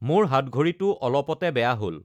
মোৰ হাতঘড়ীটো অলপতে বেয়া হ'ল।